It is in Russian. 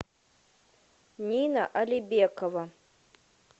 нина алибекова